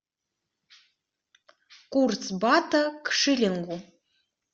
курс бата к шиллингу